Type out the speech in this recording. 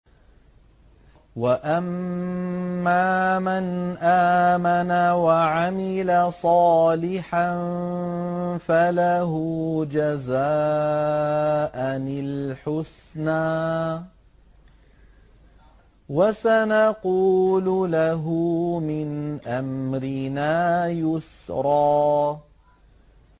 وَأَمَّا مَنْ آمَنَ وَعَمِلَ صَالِحًا فَلَهُ جَزَاءً الْحُسْنَىٰ ۖ وَسَنَقُولُ لَهُ مِنْ أَمْرِنَا يُسْرًا